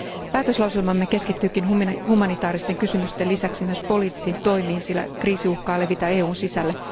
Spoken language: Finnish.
Päätöslauselmamme keskittyykin humanitaaristen kysymysten lisäksi myös poliittisiin toimiin, sillä kriisi uhkaa levitä EUn sisälle.